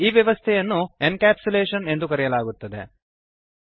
ಈ ವ್ಯವಸ್ಥೆಯನ್ನು encapsulation encapsulation ಎಂದು ಕರೆಯಲಾಗುತ್ತದೆ